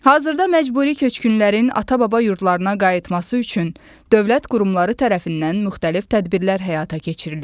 Hazırda məcburi köçkünlərin ata-baba yurdlarına qayıtması üçün dövlət qurumları tərəfindən müxtəlif tədbirlər həyata keçirilir.